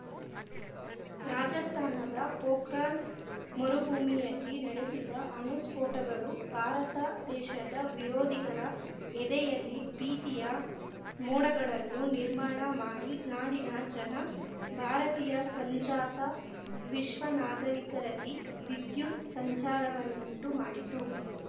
ರಾಜಸ್ಥಾನದ ಪೋಖ್ರಾನ್‌ ಮರುಭೂಮಿಯಲ್ಲಿ ನಡೆಸಿದ ಅಣುಸ್ಫೋಟಗಳು ಭಾರತ ದೇಶದ ವಿರೋಧಿಗಳ ಎದೆಯಲ್ಲಿ ಭೀತಿಯ ಮೋಡಗಳನ್ನು ನಿರ್ಮಾಣ ಮಾಡಿ ನಾಡಿನ ಜನ ಭಾರತೀಯ ಸಂಜಾತ ವಿಶ್ವ ನಾಗರಿಕರಲ್ಲಿ ವಿದ್ಯುತ್‌ ಸಂಚಾರವನ್ನುಂಟು ಮಾಡಿತು